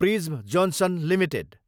prism Johnson Ltd